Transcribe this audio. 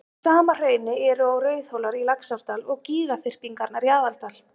Í sama hrauni eru og Rauðhólar í Laxárdal og gígaþyrpingarnar í Aðaldal.